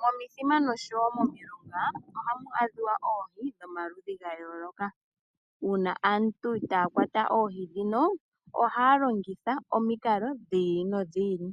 Momithima nosho woo momilonga ohamu adhika oohi dhomaludhi gayoloka. Uuna aantu taakwata oohi ndhino, ohaalongitha omikalo dhiili no dhiili,